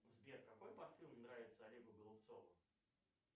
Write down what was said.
сбер какой парфюм нравится олегу голубцову